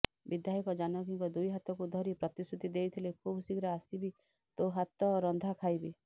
ବିଧାୟକ ଜାନକୀଙ୍କ ଦୁଇ ହାତକୁ ଧରି ପ୍ରତିଶୃତି ଦେଇଥିଲେ ଖୁବ ଶିଘ୍ର ଆସିବି ତୋ ହାତ ରନ୍ଧା ଖାଇବି